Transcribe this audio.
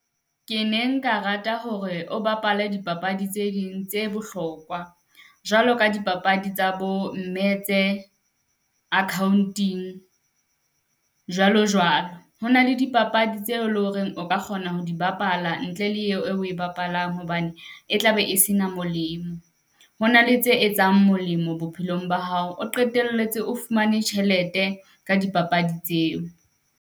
Ke neng ka rata hore o bapala dipapadi tse ding tse bohlokwa, jwalo ka dipapadi tsa bo mme tse akhaonting jwalo jwalo. Ho na le dipapadi tseo leng hore o ka kgona ho di bapala ntle le eo e o e bapalang, hobane e tlabe e se na molemo. Ho na le tse etsang molemo bophelong ba hao, o qetelletse o fumane tjhelete ka dipapadi tseo.